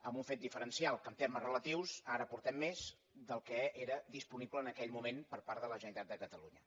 amb un fet diferencial que en ter·mes relatius ara aportem més del que era disponible en aquell moment per part de la generalitat de catalunya